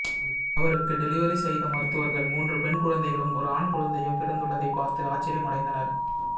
அவருக்கு டெலிவரி செய்த மருத்துவர்கள் மூன்று பெண் குழந்தைகளும் ஒரு ஆண் குழந்தையும் பிறந்துள்ளதை பார்த்து ஆச்சரியமடைந்தனர்